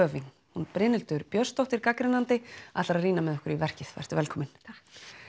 hún Brynhildur Björnsdóttir gagnrýnandi ætlar að rýna með okkur í verkið vertu velkomin takk